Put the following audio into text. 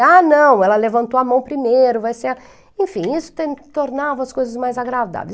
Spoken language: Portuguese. Ah, não, ela levantou a mão primeiro, vai ser... Enfim, isso tem tornava as coisas mais agradáveis.